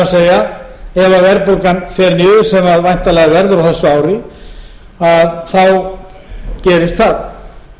er ef verðbólgan fer niður sem væntanlega verður á þessu ári gerist það